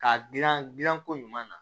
K'a dilan gilanko ɲuman na